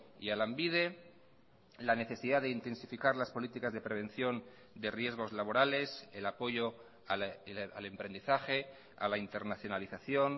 y a lanbide la necesidad de intensificar las políticas de prevención de riesgos laborales el apoyo al emprendizaje a la internacionalización